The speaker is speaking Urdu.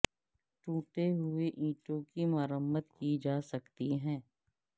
ٹوٹے ہوئے اینٹوں کی مرمت کی جا سکتی ہے